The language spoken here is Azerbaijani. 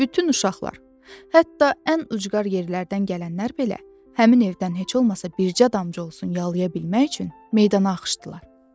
Bütün uşaqlar, hətta ən ucqar yerlərdən gələnlər belə, həmin evdən heç olmasa bircə damcı olsun yalaya bilmək üçün meydana axışdılar.